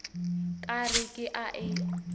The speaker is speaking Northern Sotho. ka re ke a e